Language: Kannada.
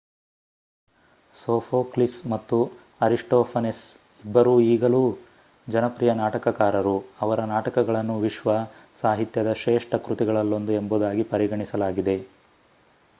ಸೋಫೋಕ್ಲಿಸ್ ಮತ್ತು ಅರಿಸ್ಟೋಫನೆಸ್ ಇಬ್ಬರೂ ಈಗಲೂ ಜನಪ್ರಿಯ ನಾಟಕಕಾರರು ಅವರ ನಾಟಕಗಳನ್ನು ವಿಶ್ವ ಸಾಹಿತ್ಯದ ಶ್ರೇಷ್ಠ ಕೃತಿಗಳಲ್ಲೊಂದು ಎಂಬುದಾಗಿ ಪರಿಗಣಿಸಲಾಗಿದೆ